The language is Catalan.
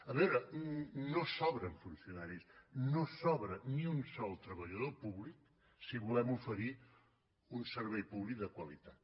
a veure no sobren funcionaris no sobra ni un sol treballador públic si volem oferir un servei públic de qualitat